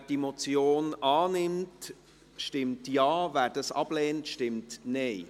Wer die Motion annimmt, stimmt Ja, wer diese ablehnt, stimmt Nein.